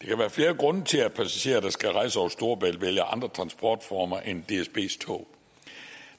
kan være flere grunde til at passagerer der skal rejse over storebælt vælger andre transportformer end dsbs tog